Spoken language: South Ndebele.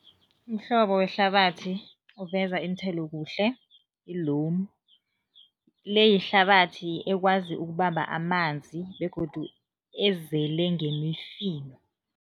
Umhlobo wehlabathi oveza iinthelo kuhle, yi-loam. Le yihlabathi ekwazi ukubamba amanzi begodu ezele ngemifino.